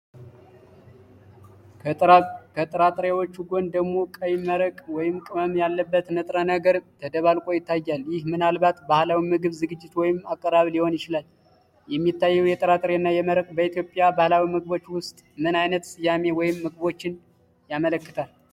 ከጥራጥሬዎቹ ጎን ደግሞ ቀይ መረቅ ወይም ቅመም ያለበት ንጥረ ነገር ተደባልቆ ይታያል። ይህ ምናልባት ባህላዊ የምግብ ዝግጅት ወይም አቀራረብ ሊሆን ይችላል። የሚታየው ጥራጥሬ እና መረቅ በኢትዮጵያ ባህላዊ ምግቦች ውስጥ ምን ዓይነት ስያሜ ወይም ምግቦችን ያመለክታል?